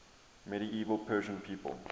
medieval persian people